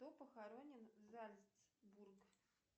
кто похоронен зальцбург